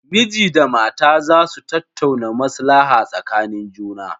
Miji da matarsa za su tattauna maslaha tsakanin juna.